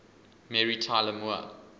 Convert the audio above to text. mary tyler moore